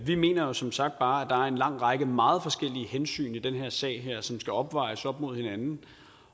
vi mener jo som sagt bare at en lang række meget forskellige hensyn i den her sag som skal opvejes mod hinanden